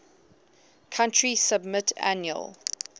country submit annual